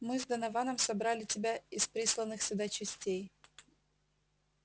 мы с донованом собрали тебя из присланных сюда частей